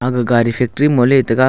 aga gari factory mo le taiga.